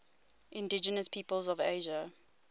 indigenous peoples of asia